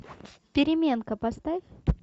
переменка поставь